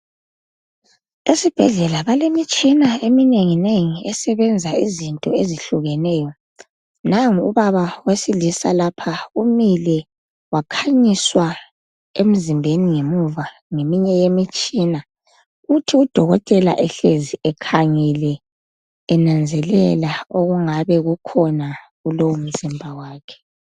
Esibhedlela balemitshina eminengi nengi Esebenza izinto ezihlukeneyo. Nangu ubaba wesilisa lapha umile wakhanyiswa emzimbeni ngemuva ngeminye yemitshina .Uthi udokotela ehlezi ekhangele enanzelela okungabe kukhona kulowo mzimba wakhe .